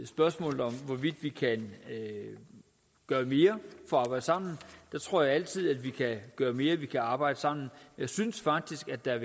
spørgsmålet om hvorvidt vi kan gøre mere for at arbejde sammen tror jeg altid at vi kan gøre mere at vi kan arbejde sammen jeg synes faktisk at der